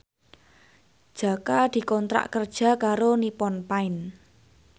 Jaka dikontrak kerja karo Nippon Paint